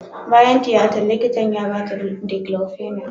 Bayan tiyatan, likita ya ba ta diclofenac.